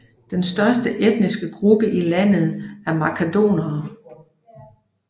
Den største etniske gruppe i landet er makedonerne